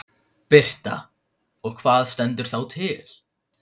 Birta: Og hvað stendur þá til?